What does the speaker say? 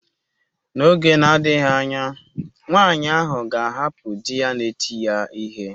N'oge na-adịghị anya nwaanyị ahụ ga-ahapụ di ya na-eti ya ihe.